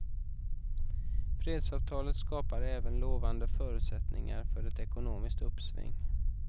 Fredsavtalet skapar även lovande förutsättningar för ett ekonomiskt uppsving.